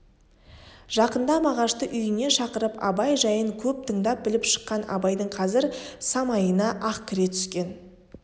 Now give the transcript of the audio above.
жақында мағашты үйіне шақырып абай жайын көп тыңдап біліп шыққан абайдың қазір самайына ақ кіре түскен